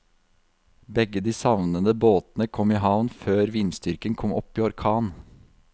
Begge de savnede båtene kom i havn før vindstyrken kom opp i orkan.